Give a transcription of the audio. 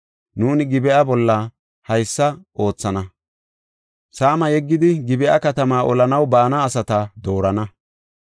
Nuuni Gib7a bolla haysa oothana; saama yeggidi, Gib7a katamaa olanaw baana asata doorana.